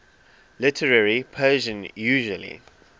literary persian usually